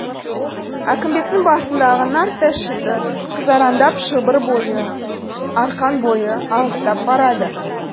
әкімбектің басындағы нарттай шыты қызараңдап шылбыр бойы арқан бойы алыстап барады